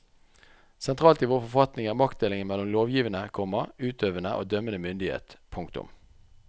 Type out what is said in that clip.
Sentralt i vår forfatning er maktdelingen mellom lovgivende, komma utøvende og dømmende myndighet. punktum